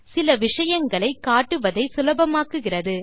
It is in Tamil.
சில விஷயங்களை காட்டுவதை சுலபமாக்குகிறது